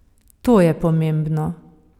To je pomembno.